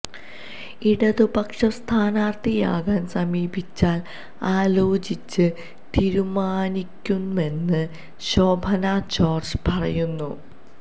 ഇടതുപക്ഷം സ്ഥാനാർത്ഥിയാക്കാൻ സമീപിച്ചാൽ ആലോചിച്ച് തീരുമാനിക്കുമെന്നും ശോഭന ജോർജ് പറയുന്നു